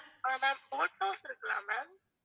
ஆஹ் ma'am boat house இருக்குல்ல ma'am